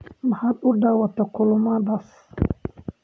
Maxaad u daawataa kulammadaas?